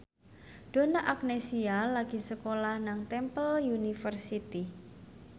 Donna Agnesia lagi sekolah nang Temple University